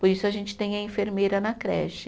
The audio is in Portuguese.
Por isso, a gente tem a enfermeira na creche.